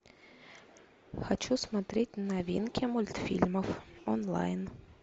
хочу смотреть новинки мультфильмов онлайн